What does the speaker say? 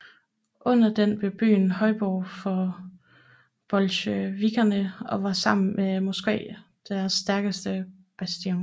Under den blev byen højborg for bolsjevikkerne og var sammen med Moskva deres stærkeste bastion